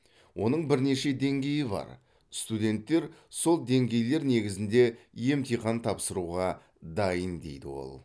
оның бірнеше деңгейі бар студенттер сол деңгейлер негізінде емтихан тапсыруға дайын дейді ол